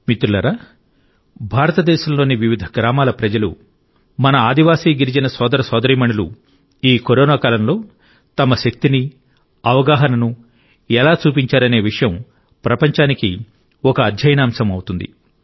మిత్రులారా భారత దేశంలోని వివిధ గ్రామాల ప్రజలు మన ఆదివాసీ గిరిజన సోదర సోదరీమణులు ఈ కరోనా కాలంలో తమ శక్తిని అవగాహనను ఎలా చూపించారనే విషయం ప్రపంచానికి ఒక అధ్యయనాంశం అవుతుంది